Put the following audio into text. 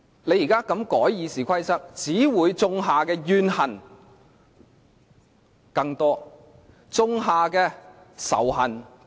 你現在這樣修改《議事規則》，只會種下更多怨恨、種下更多仇恨。